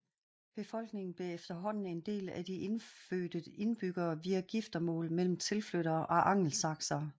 Befolkningen blev efterhånden en del af den indfødte indbyggere via giftemål mellem tilflyttere og angelsaksere